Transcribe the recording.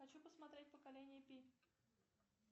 хочу посмотреть поколение пи